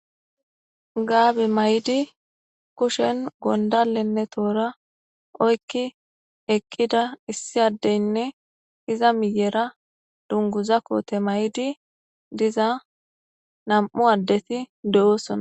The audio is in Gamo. gaabe may7di kushen gondalenne toora oykki eqqida issi addeynne iza miyera dunguza koote may7di diza nam7u addeti de7oosona